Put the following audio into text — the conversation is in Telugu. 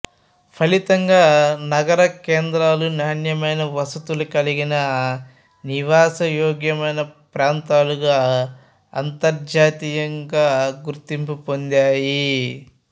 ఫలితంగా నగరకేంద్రాలు నాణ్యమైన వసతులు కలిగిన నివాసయోగ్యమైన ప్రాంతాలుగా అతర్జాతీయంగా గుర్తింపు పొందాయి